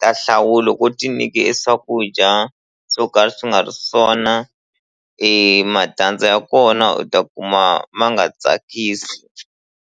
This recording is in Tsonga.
ta hlawula loko u ti nike swakudya swo ka swi nga ri swona matandza ya kona u ta kuma ma nga tsakisi.